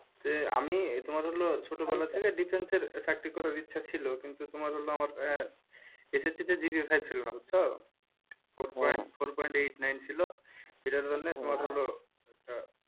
আমি তোমার হলে ছোটবেলা থেকে defense চাকরি করার ইচ্ছে ছিলকিন্তু তোমার SSC ছিলোনা বুঝছো four point eight nine ছিল যার কারণে,